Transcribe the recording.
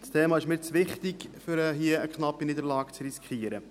Das Thema ist mir zu wichtig, um hier eine knappe Niederlage zu riskieren.